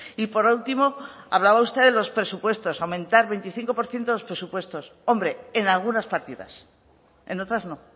y por último hablaba usted de los presupuestos aumentar un veinticinco por ciento los presupuestos hombre en algunas partidas en otras no